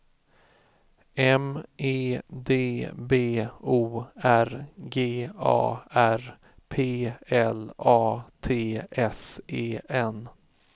M E D B O R G A R P L A T S E N